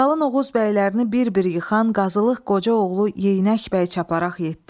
Qalın Oğuz bəylərini bir-bir yıxan Qazılıq Qoca oğlu Yeyinək bəy çaparaq getdi.